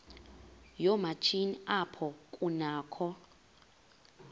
yoomatshini apho kunakho